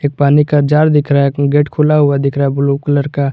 एक पानी का जार दिख रहा है गेट खुला हुआ दिख रहा है ब्लू कलर का।